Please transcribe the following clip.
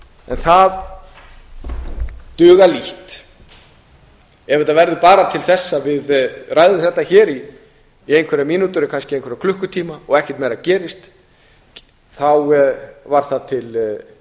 það dugar lítt ef þetta verður bara til þess að við ræðum þetta hér í einhverjar mínútur eða kannski einhverja klukkutíma og ekkert meira gerist þá var það til